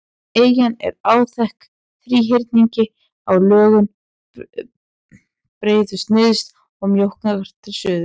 Eyjan er áþekk þríhyrningi í lögun, breiðust nyrst og mjókkar til suðurs.